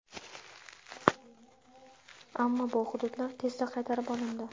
Ammo bu hududlar tezda qaytarib olindi.